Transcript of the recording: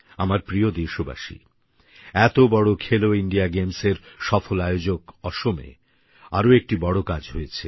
আমার প্রিয় দেশবাসী এত বড় খেলো ইন্ডিয়া গেমসের সফল আয়োজক অসমে আর একটি বড় কাজ হয়েছে